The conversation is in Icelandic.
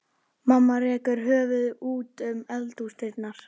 Mamma rekur höfuðið út um eldhúsdyrnar.